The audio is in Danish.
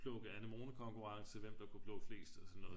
Plukke anemonekonkurrence hvem der kunne plukke flest